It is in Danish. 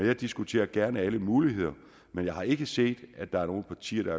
jeg diskuterer gerne alle muligheder men jeg har ikke set at der er nogen partier